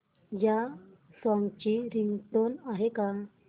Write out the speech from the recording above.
या सॉन्ग ची रिंगटोन आहे का